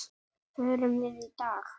Förum við í dag?